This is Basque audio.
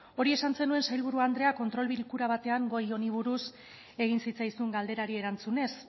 hori esan zenuen sailburu andrea kontrol bilkura batean gai honi buruz egin zitzaizun galderari erantzunez